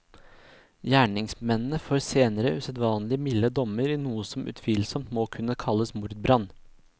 Gjerningsmennene får senere usedvanlig milde dommer i noe som utvilsomt må kunne kalles mordbrann.